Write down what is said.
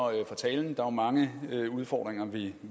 talen der er mange udfordringer vi